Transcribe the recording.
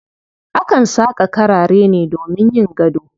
Akan saƙa karare ne domin yin gado.